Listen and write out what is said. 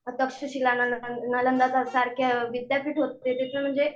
तक्षशिला म्हण, नालंदा सारखे विद्यापीठ होते त्याचे म्हणजे